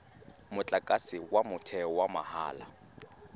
motlakase wa motheo wa mahala